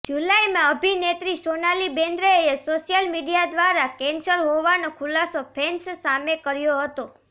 જુલાઈમાં અભિનેત્રી સોનાલી બેન્દ્રેએ સોશિયલ મીડિયા દ્વારા કેન્સર હોવાનો ખુલાસો ફેન્સ સામે કર્યો હતો